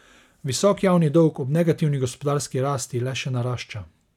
Visok javni dolg ob negativni gospodarski rasti le še narašča.